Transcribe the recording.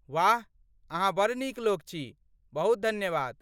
वाह, अहाँ बड़ नीक लोक छी, बहुत धन्यवाद।